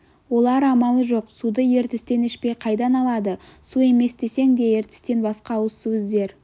олар амалы жоқ суды ертістен ішпей қайдан алады су емес десең де ертістен басқа ауызсу іздер